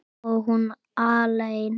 Og hún alein.